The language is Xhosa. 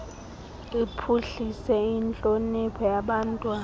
iphuhlise intlonipho yabantwana